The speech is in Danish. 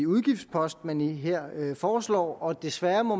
udgiftspost man her foreslår og desværre må